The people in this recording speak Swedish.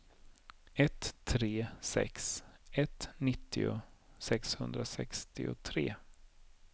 ett tre sex ett nittio sexhundrasextiotre